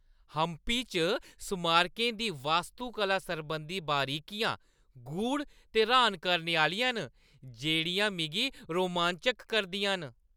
हम्पी च स्मारकें दी वास्तुकला सरबंधी बरीकियां गूढ़ ते र्‌हान करने आह्‌लियां न, जेह्ड़ियां मिगी रोमांचत करदियां न।